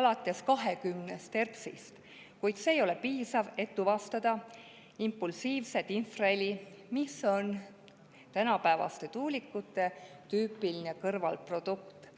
alates 20 hertsist, kuid see ei ole piisav selleks, et tuvastada impulsiivset infraheli, mis on tänapäevaste tuulikute tüüpiline kõrvalprodukt.